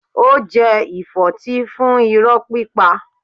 Ó jẹ ìfọ́tí fún irọ́ pípa.